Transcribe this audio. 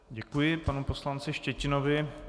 Děkuji panu poslanci Štětinovi.